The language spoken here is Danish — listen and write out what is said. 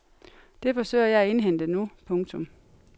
Det forsøger jeg at indhente nu. punktum